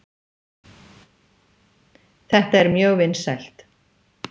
Þetta er mjög vinsælt.